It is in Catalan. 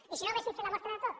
i si no haver fet la mostra de tot